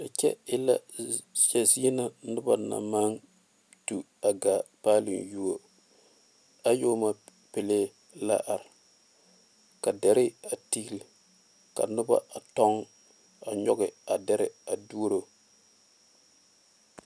A kyɛ e la zie na noba naŋ maŋ tu gaa paaloŋ yuo ayɔɔma pele la are ka dɛre a tiili ka noba a tɔŋ a nyɔge a dɛre a duoro.